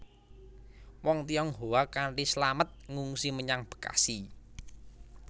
Wong Tionghoa kanthi slamet ngungsi menyang Bekasi